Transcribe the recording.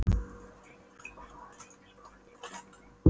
Þórleifur, hvað heitir þú fullu nafni?